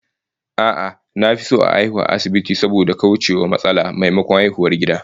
A'a, na fi son a haihu a asibiti saboda kauce wa matsala, maimakon haihuwar gida